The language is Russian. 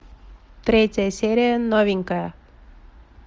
третья серия новенькая